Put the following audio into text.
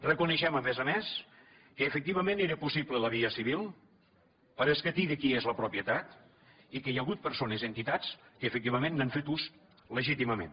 reconeixem a més a més que efectivament era possible la via civil per a escatir de qui és la propietat i que hi ha hagut persones i entitats que efectivament n’han fet ús legítimament